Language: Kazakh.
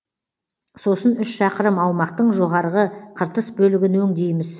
сосын үш шақырым аумақтың жоғарғы қыртыс бөлігін өңдейміз